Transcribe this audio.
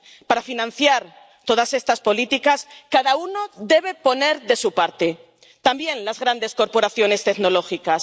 Para financiar todas estas políticas, cada uno debe poner de su parte, también las grandes corporaciones tecnológicas.